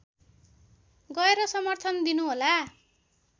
गएर समर्थन दिनु होला